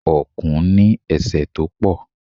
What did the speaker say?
Ọ̀kùn ní ese tó pọ̀.